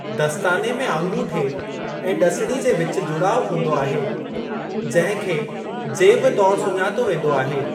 दस्ताने में आङूठे ऐं ड॒सिणी जे विच जुड़ाउ हूंदो आहे , जिंहं खे 'जेब' तौरु सुञातो वेंदो आहे।